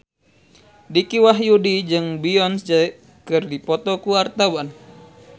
Dicky Wahyudi jeung Beyonce keur dipoto ku wartawan